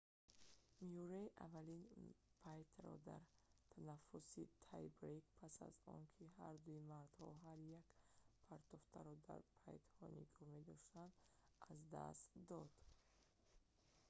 мюррей аввалин пайтро дар танафусси тай-брейк пас аз он ки ҳардуи мардҳо ҳар як партофтро дар пайтҳо нигоҳ медоштанд аз даст дод